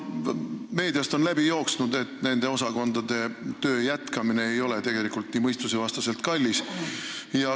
Meediast on läbi jooksnud, et nende osakondade töö jätkamine ei ole tegelikult nii mõistusevastaselt kallis.